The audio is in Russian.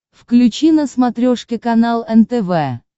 включи на смотрешке канал нтв